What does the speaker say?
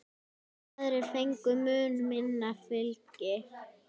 Aðrir fengu mun minna fylgi.